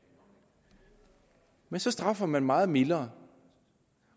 men så straffer man meget mildere